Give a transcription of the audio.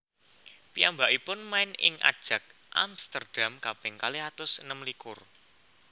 Piyambakipun main ing Ajax Amsterdam kaping kalih atus enem likur